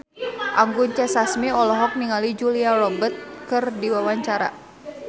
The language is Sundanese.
Anggun C. Sasmi olohok ningali Julia Robert keur diwawancara